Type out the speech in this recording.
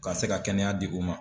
Ka se ka kɛnɛya di u ma.